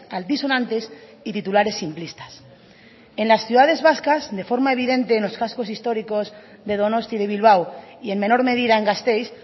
altisonantes y titulares simplistas en las ciudades vascas de forma evidente en los cascos históricos de donosti de bilbao y en menor medida en gasteiz